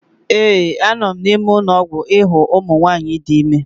ee, a nọ m n'ụlọ ọgwụ ịhụ ụmụ nwanyị dị ime